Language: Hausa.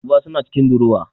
Duba suna cikin durowa